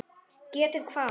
Getið hvað?